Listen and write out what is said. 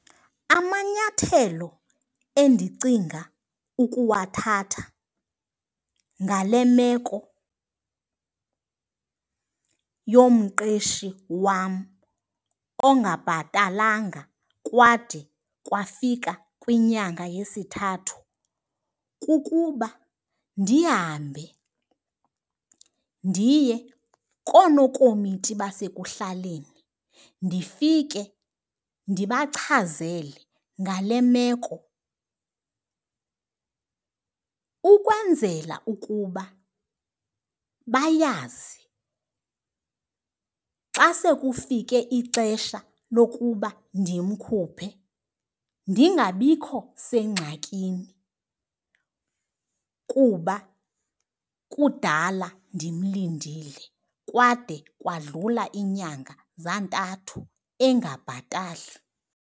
Amanyathelo endicinga ukuwathatha ngale meko yomqeshi wam ongabhatalanga kwade kwafika kwinyanga yesithathu kukuba ndihambe ndiye koonokomiti basekuhlaleni ndifike ndibachazele ngale meko. Ukwenzela ukuba bayazi xa sekufike ixesha lokuba ndimkhuphe ndingabikho sengxakini kuba kudala ndimlindile kwade kwadlula inyanga zantathu engabhatali.